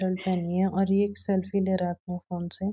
Shirt पहनी है और ये एक सेल्फी ले रहा है अपने फोन से।